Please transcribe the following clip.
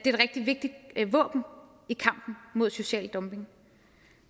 et rigtig vigtigt våben i kampen mod social dumping